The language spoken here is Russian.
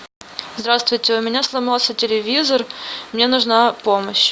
здравствуйте у меня сломался телевизор мне нужна помощь